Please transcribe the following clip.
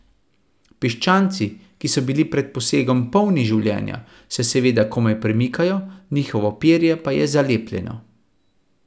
Piščanci, ki so bili pred posegom polni življenja, se seveda komaj premikajo, njihovo perje pa je zalepljeno.